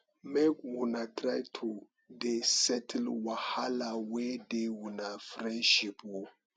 make una try to dey settle wahala wey dey una friendship o